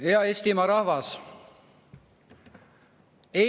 Hea Eestimaa rahvas!